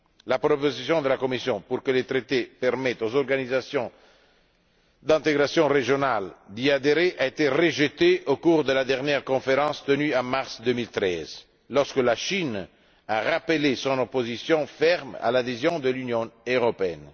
La proposition de la Commission pour que le traité permette aux organisations d'intégration régionale d'y adhérer a été rejetée au cours de la dernière conférence tenue en mars 2013, lorsque la Chine a rappelé son opposition ferme à l'adhésion de l'Union européenne.